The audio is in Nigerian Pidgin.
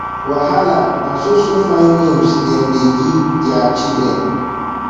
wahala na so so fine names dem dey give their children